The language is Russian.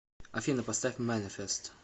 афина поставь манифест